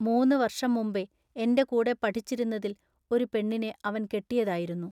മൂന്നുവൎഷം മുമ്പെ എന്റെ കൂടെ പഠിച്ചിരുന്നതിൽ ഒരു പെണ്ണിനെ അവൻ കെട്ടിയതായിരുന്നു.